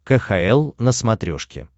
кхл на смотрешке